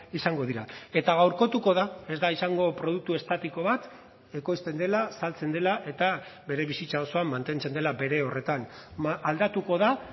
izango dira eta gaurkotuko da ez da izango produktu estatiko bat ekoizten dela saltzen dela eta bere bizitza osoan mantentzen dela bere horretan aldatuko da